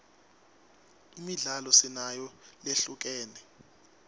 imidlalo sinayo lehlukene